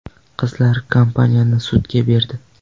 Qizlar kompaniyani sudga berdi.